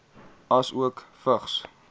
asook vigs